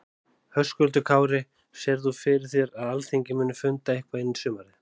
Höskuldur Kári: Sérð þú fyrir þér að Alþingi muni funda eitthvað inn í sumarið?